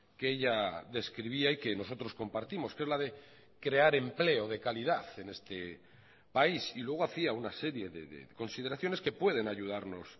que ella describía y que nosotros compartimos que es la de crear empleo de calidad en este país y luego hacía una serie de consideraciones que pueden ayudarnos